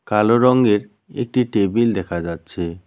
কালো রঙ্গের একটি টেবিল দেখা যাচ্ছে।